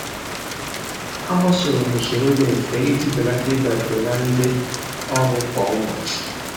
A gbasoro m usoro dị mfe iji belata ịdabere na ndị ọrụ kwa ụbọchị